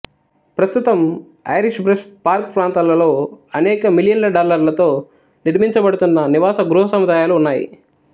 ప్రస్తుతం Irish Brush Park ప్రాంతాలలో అనేక మిలియన్ల డాలర్లతో నిర్మించబడుతున్న నివాస గృహసముదాయాలు ఉన్నాయి